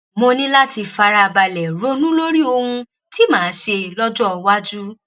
mo ní láti fara balẹ̀ ronú lórí ohun tí màá ṣe lọ́jọ́ iwájú